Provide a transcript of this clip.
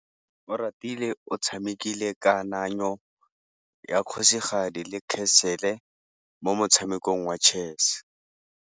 Oratile o tshamekile kananyô ya kgosigadi le khasêlê mo motshamekong wa chess.